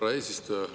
Härra eesistuja!